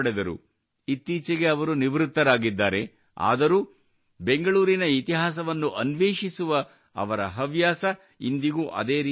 ಇತ್ತೀಚೆಗೆ ಅವರು ನಿವೃತ್ತರಾಗಿದ್ದಾರೆ ಆದರೂ ಬೆಂಗಳೂರಿನ ಇತಿಹಾಸವನ್ನು ಅನ್ವೇಷಿಸುವ ಅವರ ಹವ್ಯಾಸ ಇಂದಿಗೂ ಅದೇ ರೀತಿ ಉಳಿದಿದೆ